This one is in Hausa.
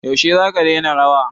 Yaushe za ka daina rawa?